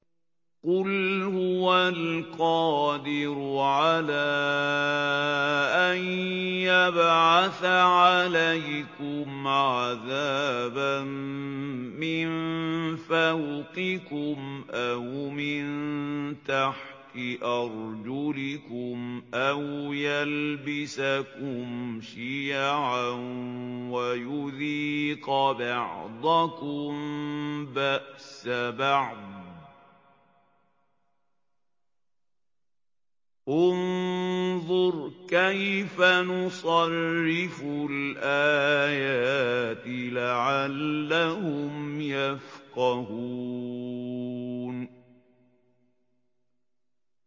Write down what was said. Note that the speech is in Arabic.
قُلْ هُوَ الْقَادِرُ عَلَىٰ أَن يَبْعَثَ عَلَيْكُمْ عَذَابًا مِّن فَوْقِكُمْ أَوْ مِن تَحْتِ أَرْجُلِكُمْ أَوْ يَلْبِسَكُمْ شِيَعًا وَيُذِيقَ بَعْضَكُم بَأْسَ بَعْضٍ ۗ انظُرْ كَيْفَ نُصَرِّفُ الْآيَاتِ لَعَلَّهُمْ يَفْقَهُونَ